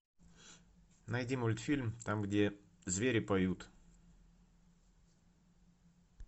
найди мультфильм там где звери поют